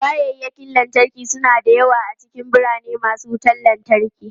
Kayakin lantarki suna da yawa a cikin birane masu wutan lantarki.